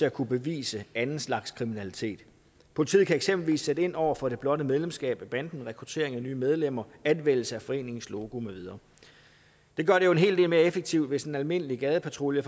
at kunne bevise anden slags kriminalitet politiet kan eksempelvis sætte ind over for det blotte medlemskab af banden rekruttering af nye medlemmer anvendelse af foreningens logo med videre det gør det jo en hel del mere effektivt hvis en almindelig gadepatrulje